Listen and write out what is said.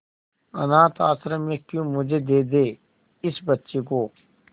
अनाथ आश्रम में क्यों मुझे दे दे इस बच्ची को